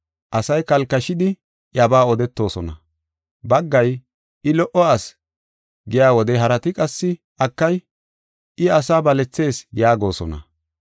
Asay kalkashidi iyabaa odetoosona. Baggay, “I lo77o asi” giya wode harati qassi, “Akay, I asaa balethees” yaagosona.